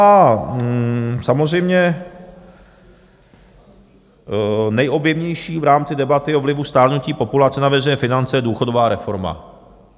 A samozřejmě nejobjemnější v rámci debaty o vlivu stárnutí populace na veřejné finance je důchodová reforma.